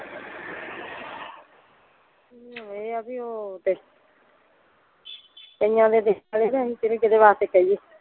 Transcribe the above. ਹੁਣ ਇਹ ਆ ਬੀ ਓਹ ਤੇ ਕਈਆਂ ਦੇ ਤੇ ਅਸੀਂ ਕਿਹੜੇ ਕਿਹੜੇ ਵਾਸਤੇ ਕਹੀਏ।